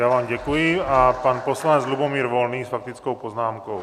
Já vám děkuji a pan poslanec Lubomír Volný s faktickou poznámkou.